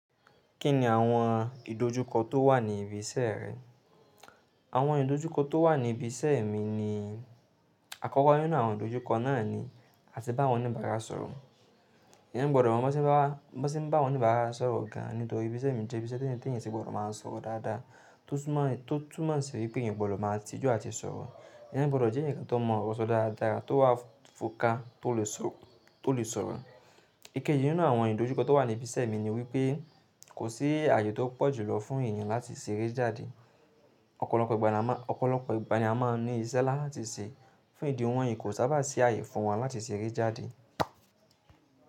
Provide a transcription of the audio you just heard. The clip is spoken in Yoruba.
Kí ni àwọn ìdojúkọ tó wà ní ibi iṣẹ́ rẹ? Àwọn ìdojúkọ tó wà ní ibi iṣẹ́ mi ni àkọ́kọ́ nínú àwọn ìdojúkọ náà ni a ti bá wọn oní ìbára sọ̀rọ̀. Eeyan gbọ́dọ̀ mo bá ṣe bá awọn oní ìbára sọ̀rọ̀ gaan nítorí ibí iṣẹ́ mi jẹ́ ibi ise tí ẹ̀eyan ti gbọ́dọ̀ máa ń sọ̀rọ̀ dáadáa tó tún mọ̀ sí wípé ẹ̀yin o gbọ́dọ̀ máa tijú àti sọ̀rọ̀. Eeyan gbọ́dọ̀ jẹ́ ẹ̀ni kan tó mọ̀ ọ̀rọ̀ sọ dáadáa, tó wà fò ká tó lè sọ̀rọ̀. Ikeji nínú àwọn ìdojúkọ tó wà ní ibi iṣẹ́ mi ni wípé kò sí ààyè tó pọ̀ julọ fún èèyàn láti ṣeré jáde. Ọ̀pọ̀lọpọ̀ ìgbà ni a máa ní iṣẹ́ láti ṣe, fún ìdí wọ̀nyí kò sábà sí ààyè fún wọn láti ṣeré jáde.